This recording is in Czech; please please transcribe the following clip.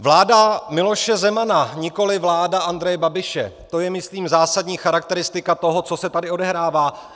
Vláda Miloše Zemana, nikoli vláda Andreje Babiše - to je myslím zásadní charakteristika toho, co se tady odehrává.